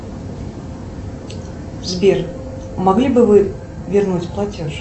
сбер могли бы вы вернуть платеж